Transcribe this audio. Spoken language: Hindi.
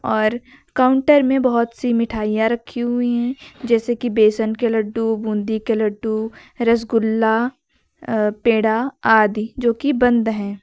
और काउंटर में बहोत सी मिठाइयां रखी हुई है जैसे कि बेसन के लड्डू बूंदी के लड्डू रसगुल्ला अ पेड़ा आदि जो की बंद है।